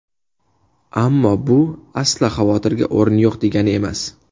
Ammo bu, aslo xavotirga o‘rin yo‘q, degani emas.